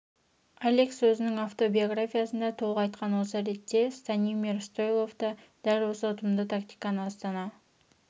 алекс өзінің автобиографиясында толық айтқан осы ретте станимир стойлов та дәл осы ұтымды тактиканы астана